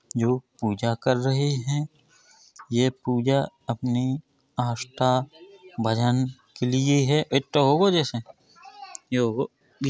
लोग पूजा कर रहे हैं। ये पूजा अपनी आस्था भजन के लिए है। एता होगो जैसे ये होगो।